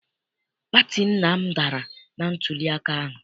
Pati nna m dara na ntuliaka ahụ.